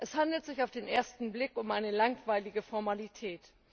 Es handelt sich auf den ersten Blick um eine langweilige Formalität.